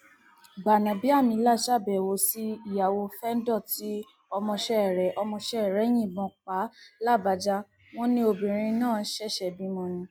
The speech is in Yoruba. gbanábíàmílà ṣàbẹwò sí ìyàwó fẹńdọ tí ọmọọṣẹ rẹ ọmọọṣẹ rẹ yìnbọn pa làbájá wọn lobìnrin náà ṣẹṣẹ bímọ ni